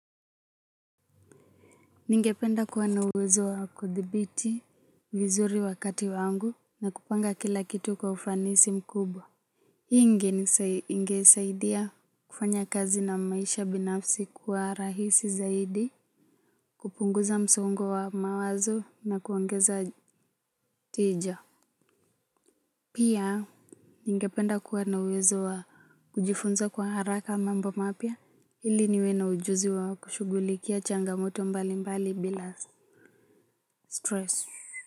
Ningependa kuwa na uwezo wa kuthibiti vizuri wakati wangu na kupanga kila kitu kwa ufanisi mkubwa. Hii ingesaidia kufanya kazi na maisha binafsi kuwa rahisi zaidi kupunguza msongo wa mawazo na kuongeza tija. Pia ningependa kuwa na uwezo wa kujifunza kwa haraka mambo mapya ili niwe na ujuzi wa kushughulikia changamoto mbali mbali bila stress.